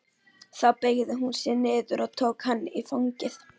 Þá beygði hún sig niður og tók hann í fangið.